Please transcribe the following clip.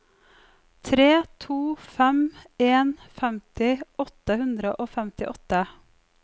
tre to fem en femti åtte hundre og femtiåtte